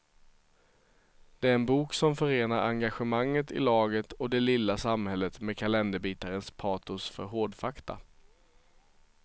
Det är en bok som förenar engagemanget i laget och det lilla samhället med kalenderbitarens patos för hårdfakta.